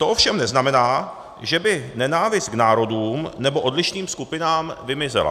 To ovšem neznamená, že by nenávist k národům nebo odlišným skupinám vymizela.